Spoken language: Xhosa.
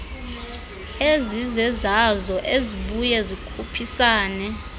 ezizezazo ezibya zikhuphisane